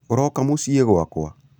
ũroka mũciĩ gwakwa?